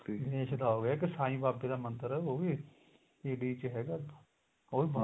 ਗਣੇਸ਼ ਦਾ ਹੋ ਗਿਆ ਇੱਕ ਸਾਂਈ ਬਾਬੇ ਦਾ ਮੰਦਰ ਉਹ ਵੀ ਇਹਦੇ ਚ ਹੈਗਾ ਉਹ ਵੀ ਬਹੁਤ